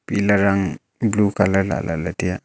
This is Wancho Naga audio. pillar ang blue colour lah lahley taiya.